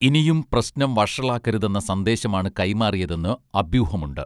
ഇനിയും പ്രശ്നം വഷളാക്കരുതെന്ന സന്ദേശമാണ് കൈമാറിയതെന്ന് അഭ്യൂഹമുണ്ട്